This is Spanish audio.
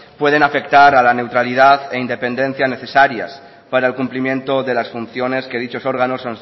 pueden afectar a la neutralidad e independencia necesarias para el cumplimiento de las funciones que dichos órganos